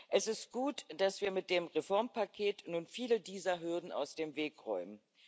Es ist gut, dass wir mit dem Reformpaket nun viele dieser Hürden aus dem Weg räumen.